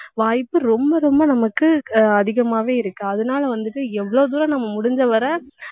வாய்ப்பு ரொம்ப ரொம்ப நமக்கு ஆஹ் அதிகமாவே இருக்கு அதனால வந்துட்டு எவ்வளவு தூரம் நம்ம முடிஞ்ச வரை